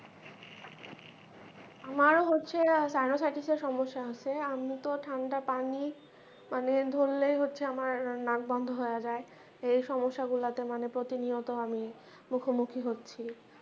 আমারও হচ্ছে সমস্যা আছে, আমি তো ঠাণ্ডা পানি, মানে ধরলে হচ্ছে আমার নাক বন্ধ হইয়া যায়, এই সমস্যা গুলাতে মানে প্রতিনিয়ত আমি মুখমুখি হচ্ছি ।